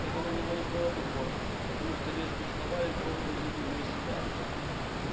это на него не было похоже потому что резкие слова легко выводили его из себя